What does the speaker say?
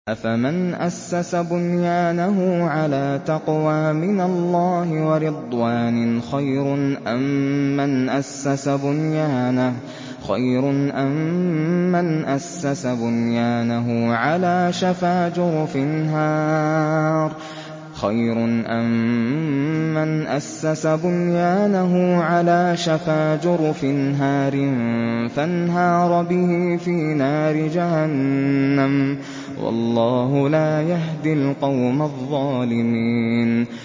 أَفَمَنْ أَسَّسَ بُنْيَانَهُ عَلَىٰ تَقْوَىٰ مِنَ اللَّهِ وَرِضْوَانٍ خَيْرٌ أَم مَّنْ أَسَّسَ بُنْيَانَهُ عَلَىٰ شَفَا جُرُفٍ هَارٍ فَانْهَارَ بِهِ فِي نَارِ جَهَنَّمَ ۗ وَاللَّهُ لَا يَهْدِي الْقَوْمَ الظَّالِمِينَ